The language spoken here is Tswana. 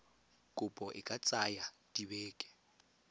kopo e ka tsaya dibeke